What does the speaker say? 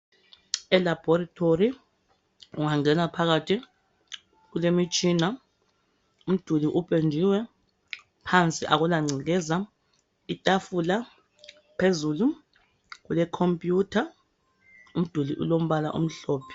ELaboratory ungangena phakathi kulemitshina, umduli upendiwe, phansi akulangcekeza. Itafula phezulu khompiyutha umduli ulombala omhlophe.